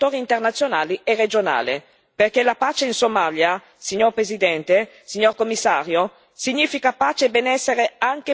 Perché la pace in Somalia, signora Presidente, signor Commissario, significa pace e benessere anche per tutti i paesi del Corno d'Africa.